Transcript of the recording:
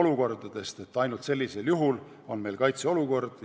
olukordade loetelu, et ainult sellisel juhul on meil kaitseolukord.